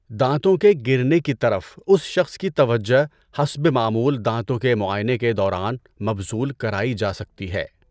دانتوں کے گرنے کی طرف اس شخص کی توجہ حسب معمول دانتوں کے معائنے کے دوران مبذول کرائی جا سکتی ہے۔